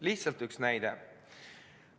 Lihtsalt üks näide.